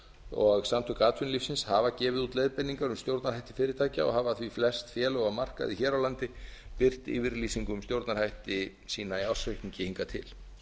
og samtök atvinnulífsins hafa gefið út leiðbeiningar um stjórnarhætti fyrirtækja og hafa því flest félög og markaði hér á landi birt yfirlýsingu um stjórnarhætti sína í ársreikningi hingað til